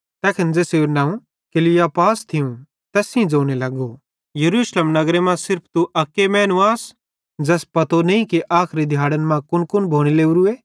तैखन तै ज़ेसेरू नवं क्लियुपास थियूं तैस सेइं ज़ोने लगो यरूशलेम नगरे मां सिर्फ तू अक मैनू आस ज़ैस पतो नईं कि आखरी दिहाड़न मां कुनकुन भोने लोरूए